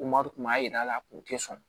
Kuma tun b'a jira a la kun tɛ sɔn